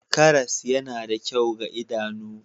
Karas yana da kyau ga idanu